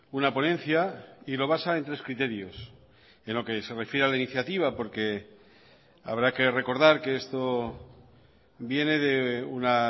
una ponencia y lo basa en tres criterios en lo que se refiere a la iniciativa porque habrá que recordar que esto viene de una